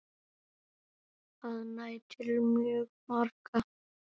Það nær til mjög margra.